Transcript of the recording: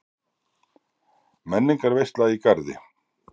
Menningarveisla í Garði